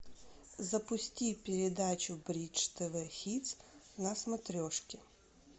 запусти передачу бридж тв хитс на смотрешке